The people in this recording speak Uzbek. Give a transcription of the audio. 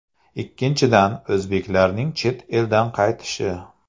Ikkinchidan, o‘zbeklarning chet eldan qaytishi.